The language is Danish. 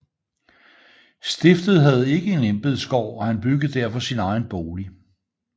Stiftet havde ikke en embedsgård og han byggede derfor sin egen bolig